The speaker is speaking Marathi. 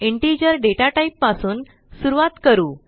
इंटिजर डेटाटाईप पासून सुरूवात करू